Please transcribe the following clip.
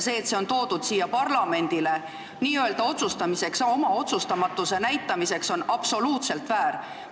See, et see on toodud siia parlamendile n-ö otsustamiseks ja oma otsustamatuse näitamiseks, on absoluutselt väär.